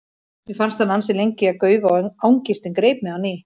Mér fannst hann ansi lengi að gaufa og angistin greip mig á ný.